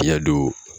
Fiɲɛ don